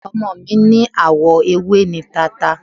Ọmọ mi ní àwọ ewé ni tata.